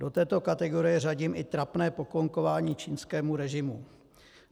Do této kategorie řadím i trapné poklonkování čínskému režimu.